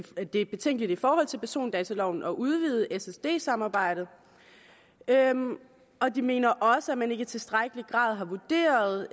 det er betænkeligt i forhold til persondataloven at udvide ssd samarbejdet og de mener også at man ikke i tilstrækkelig grad har vurderet